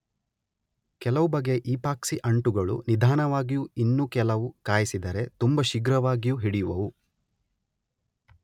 ಕೆಲವು ಬಗೆಯ ಈಪಾಕ್ಸಿ ಅಂಟುಗಳು ನಿಧಾನವಾಗಿಯೂ ಇನ್ನೂ ಕೆಲವು ಕಾಯಿಸಿದರೆ ತುಂಬ ಶೀಘ್ರವಾಗಿಯೂ ಹಿಡಿಯುವುವು.